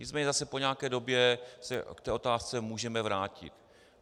Nicméně zase po nějaké době se k té otázce můžeme vrátit.